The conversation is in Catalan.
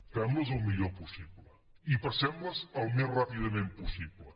fem les el millor possible i passem les al més ràpidament possible